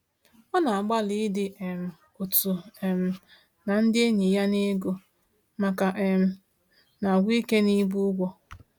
Ọ na-agbalị ịdị um otu um na ndị enyi ya n’ego, ma ka um na-agwụ ike n’ibu ụgwọ.